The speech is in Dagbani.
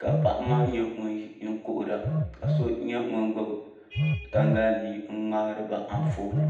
ka paɣa maa nyɛ ŋun kuhura ka so nyɛ ŋun gbubi tangali mii n ŋmaariba Anfooni